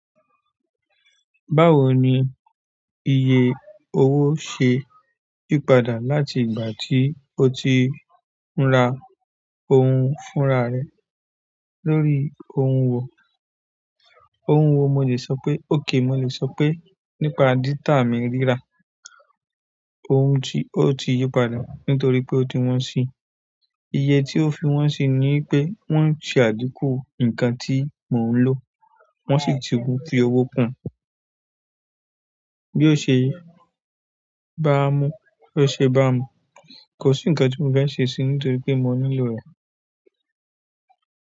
Báwo ni iye owó ṣe yípadà láti ìgbà tí o ti ń ra ohun fúnra rẹ̀ lórí ohun wò? Ohùn wo mo le sọ pe okay mo le sọ pe nípa data mi rira ohun ti o ti yipa da nítorí pe o ti wọn si iye tí ó fi wọ́n si ni wipé wọ́n ń ṣe àgekù nǹkan tí mò ń lò, wọ́n sì ti gún fi owó kun. Bí ó ṣe bá a mú, bí ó ṣe bá mu, kò sí ǹkan tí mò fẹ́ ṣe si nítorí pé mò nílò rẹ̀.